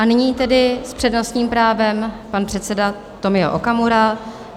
A nyní tedy s přednostním právem pan předseda Tomio Okamura.